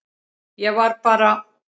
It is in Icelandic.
Ég var bara.